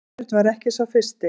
Sveinbjörn var ekki sá fyrsti.